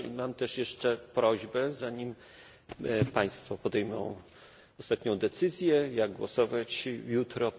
Mam też jeszcze prośbę, zanim państwo podejmą ostatnią decyzję, jak głosować jutro.